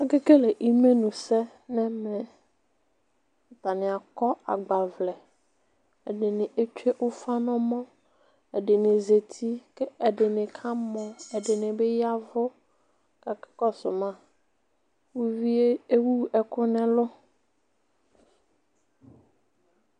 Ake le ɩmenu sɛ n'ɛmɛ, atani akɔ agba ʋlɛ, ɛdi ni etsue ufa n'ɔmɔ, ɛdi ni zeti k'ɛdi ni ka mɔ , ɛdi ni bi yaʋu k'aka kɔsu ma Uʋie ewu ɛku n'ɛlu